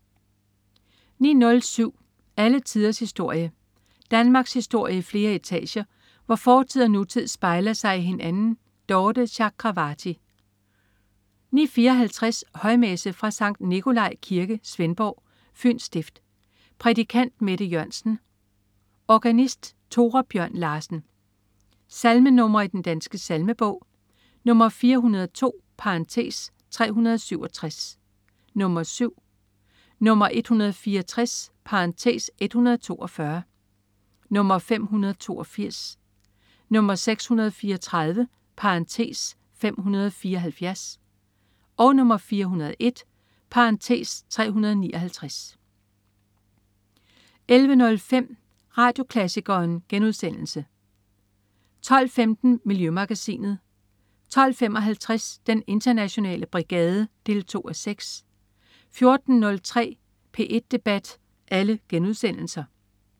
09.07 Alle tiders historie. Danmarkshistorie i flere etager, hvor fortid og nutid spejler sig i hinanden. Dorthe Chakravarty 09.54 Højmesse. Fra Sct. Nicolai Kirke, Svendborg, Fyns Stift. Prædikant: Mette Jørgensen. Organist: Tore Bjørn Larsen. Salmenr. i Den Danske Salmebog: 402 (367), 7 (7), 164 (142), 582, 634 (574), 401 (359) 11.05 Radioklassikeren* 12.15 Miljømagasinet* 12.55 Den internationale brigade 2:6* 14.03 P1 debat*